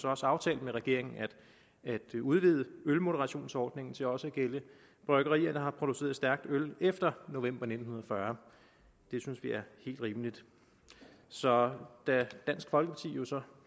også aftalt med regeringen at udvide ølmoderationsordningen til også at gælde bryggerier der har produceret stærkt øl efter november nitten fyrre det synes vi er helt rimeligt så da dansk folkeparti